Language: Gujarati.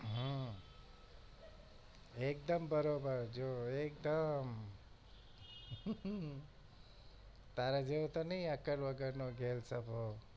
હમ એકદમ બરોબર જો એકદમ તારા જેમ નહિ અક્કલ વગર નો ગેલ સફો